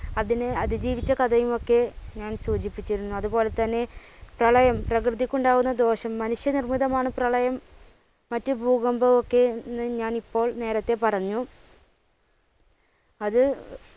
അതിന് അതിജീവിച്ച കഥയുമൊക്കെ ഞാൻ സൂചിപ്പിച്ചിരുന്നു. അതുപോലെ തന്നെ പ്രളയം പ്രകൃതിക്കുണ്ടാവുന്ന ദോഷം മനുഷ്യ നിർമ്മിതമാണ് പ്രളയം മറ്റു ഭൂകമ്പവുമൊക്കെ എന്ന് ഞാൻ ഇപ്പോൾ നേരെത്തെ പറഞ്ഞു. അത്